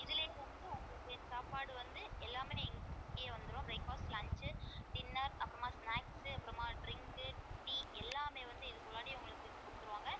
இதுல இருந்து உங்களுக்கு சாப்பாடு வந்து எல்லாமே இங்கையே வந்துரும் breakfast lunch dinner அப்புறமா snacks அப்புறமா drink tea எல்லாமே வந்து உங்களுக்கு குடுத்துருவாங்க.